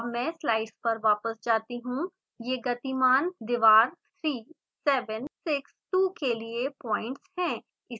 अब मैं स्लाइड्स पर वापस जाती हूँ ये गतिमान दीवार 3 7 6 2 के लिए पॉइंट्स हैं